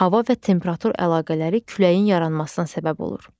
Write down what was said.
Hava və temperatur əlaqələri küləyin yaranmasına səbəb olur.